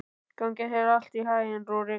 Gangi þér allt í haginn, Rúrik.